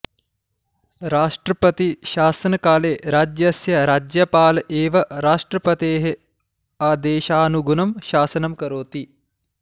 राष्ट्रपतिशासनकाले राज्यस्य राज्यपाल एव राष्ट्रपतेः आदेशानुगुणं शासनं करोति